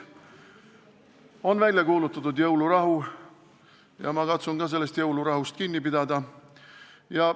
On välja kuulutatud jõulurahu ja ma katsun sellest jõulurahust kinni pidada.